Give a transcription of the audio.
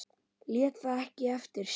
Lét það ekki eftir sér.